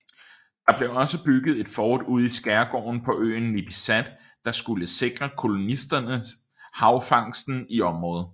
Der blev også bygget et fort ude i Skærgården på øen Nipisat der skulle sikre kolonisterne hvalfangsten i området